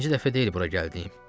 Birinci dəfə deyil bura gəldiyim.